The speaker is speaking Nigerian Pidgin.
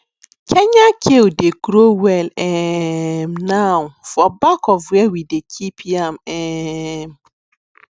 kenya kale dey grow well um now for back of where we dey keep yam um